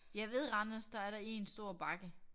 Jeg ved Randers der er der én stor bakke